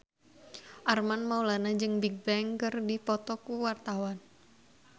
Armand Maulana jeung Bigbang keur dipoto ku wartawan